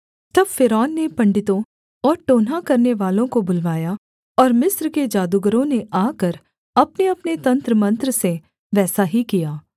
तब फ़िरौन ने पंडितों और टोनहा करनेवालों को बुलवाया और मिस्र के जादूगरों ने आकर अपनेअपने तंत्रमंत्र से वैसा ही किया